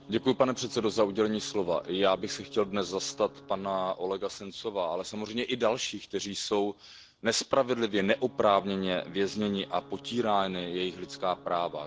Pane předsedající, já bych se chtěl dnes zastat pana Olega Sencova, ale samozřejmě i dalších, kteří jsou nespravedlivě, neoprávněně vězněni a jsou potírána jejich lidská práva.